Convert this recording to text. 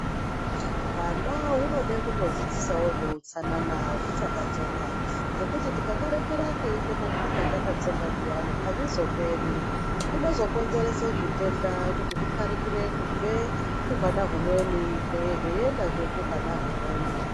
Hwana hunoda kutodzidzisawo zveutsanana huchakatsonga. Ngekuti tikakarekera keiita matsvina kakatsonga zviyani, hazvizoperi, kunozokonzerese zvitenda, kuti zviparikire kubve kuhwana humweni zveiendazve kuhwana humweni.